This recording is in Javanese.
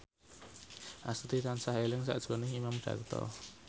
Astuti tansah eling sakjroning Imam Darto